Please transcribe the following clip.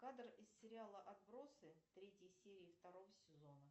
кадр из сериала отбросы третьей серии второго сезона